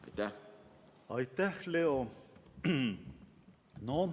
Aitäh, Leo!